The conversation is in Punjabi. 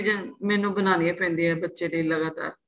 ਚੀਜ਼ਾਂ ਮੈਨੂੰ ਬਣਾਈਆਂ ਪੈਂਦੀਆਂ ਬੱਚੇ ਲਈ ਲਗਾਤਾਰ